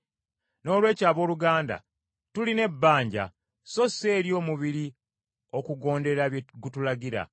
Noolwekyo abooluganda tulina ebbanja, so si eri omubiri okugondera bye gutulagira.